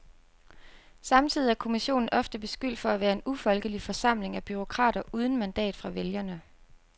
Samtidig er kommissionen ofte beskyldt for at være en ufolkelig forsamling af bureaukrater uden mandat fra vælgerne.